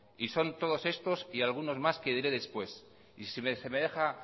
y son todos estos y algunos más que diré después y si se me deja